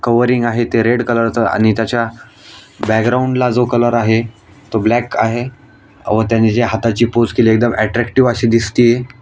Covering आहे ते red colour च आणि त्याच्या बॅकग्राउंड ला जो कलर आहे तो ब्लॅक आहे. अव त्याने जी हाताची पोज केलीये ती एकदम अट्रॅक्टीव्ह अशी दिसतीये.